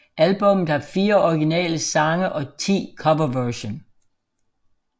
Albummet har fire originale sange og 10 coverversion